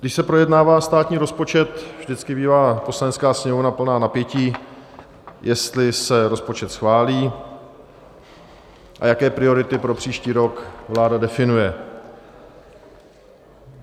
Když se projednává státní rozpočet, vždycky bývá Poslanecká sněmovna plná napětí, jestli se rozpočet schválí a jaké priority pro příští rok vláda definuje.